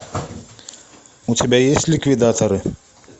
у тебя есть ликвидаторы